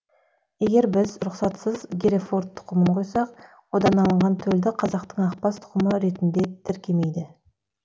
егер біз рұқсатсыз герефорд тұқымын құйсақ одан алынған төлді қазақтың ақбас тұқымы ретіне тіркемейді